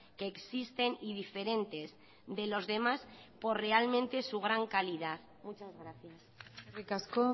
que existen y diferentes de los demás por realmente su gran calidad muchas gracias eskerrik asko